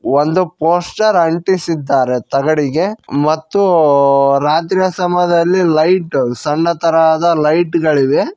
ಒಂದು ಪೋಸ್ಟರ್ ಅಂಟಿಸಿದ್ದಾರೆ ತಗಡಿಗೆ ಮತ್ತು ರಾತ್ರಿ ಸಮಯದಲ್ಲಿ ಲೈಟು ಸಣ್ಣ ತರಹದ ಲೈಟ್ ಗಳಿದೆ.